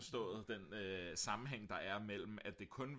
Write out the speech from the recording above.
forstået den sammenhæng mellem at det kun